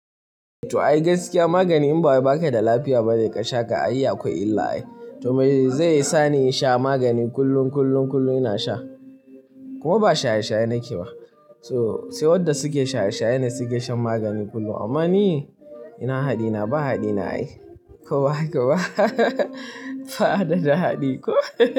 To ai gaskiya magani in ba haka da lafiya ba zai ƙasha ka a iya kawai illai. To me zai sa ni in sha magani kullum kullum kullum ina sha kuma ba shaye shaye nake ba. To sai wanda suke shaye shaye ne suke shan magani kullum amma ni ina haɗi ina ba haɗi nayi. Kuma haka ba ba haɗe da haɗi ko.